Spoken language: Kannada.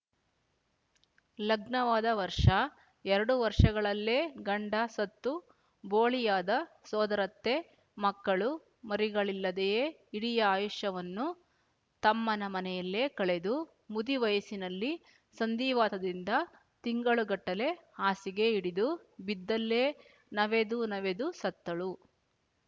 ಲಗ್ನವಾದ ವರ್ಷ ಎರಡು ವರ್ಷಗಳಲ್ಲೇ ಗಂಡ ಸತ್ತು ಬೋಳಿಯಾದ ಸೋದರತ್ತೆ ಮಕ್ಕಳು ಮರಿಗಳಿಲ್ಲದೆಯೇ ಇಡಿಯ ಆಯುಷ್ಯವನ್ನು ತಮ್ಮನ ಮನೆಯಲ್ಲೇ ಕಳೆದು ಮುದಿವಯಸ್ಸಿನಲ್ಲಿ ಸಂಧಿವಾತದಿಂದ ತಿಂಗಳು ಗಟ್ಟಲೆ ಹಾಸಿಗೆ ಹಿಡಿದು ಬಿದ್ದಲ್ಲೇ ನವೆದು ನವೆದು ಸತ್ತಳು